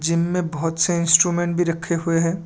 जिनमें बहुत से इंस्ट्रूमेंट भी रखे हुए हैं।